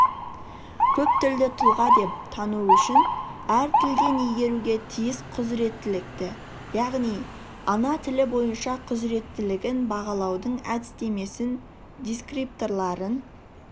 көптілді тұлға деп тану үшін әр тілден игеруге тиіс құзыреттілікті яғни ана тілі бойынша құзыреттілігін бағалаудың әдістемесін дескрипторларын